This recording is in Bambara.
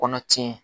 Kɔnɔ tiɲɛ